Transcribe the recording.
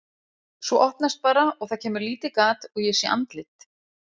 Svo opnast bara og það kemur lítið gat og ég sé andlit.